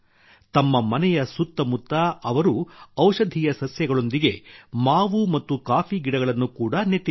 ತಮ್ಮ ಮನೆಯ ಸುತ್ತ ಮುತ್ತ ಅವರು ಔಷಧೀಯ ಸಸ್ಯಗಳೊಂದಿಗೆ ಮಾವು ಮತ್ತು ಕಾಫಿ ಗಿಡಗಳನ್ನು ಕೂಡಾ ನೆಟ್ಟಿದ್ದಾರೆ